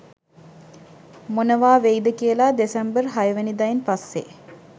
මොනවා වෙයිද කියලා දෙසැම්බර් හයවෙනිදායින් පස්සේ